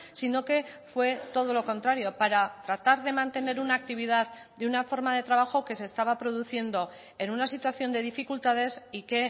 sino que fue todo lo contrario para tratar de mantener una actividad de una forma de trabajo que se estaba produciendo en una situación de dificultades y que